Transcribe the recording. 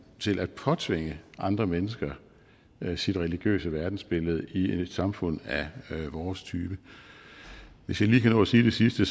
til at påtvinge andre mennesker sit religiøse verdensbillede i et samfund af vores type hvis jeg lige kan nå at sige det sidste